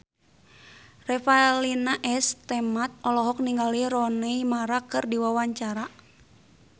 Revalina S. Temat olohok ningali Rooney Mara keur diwawancara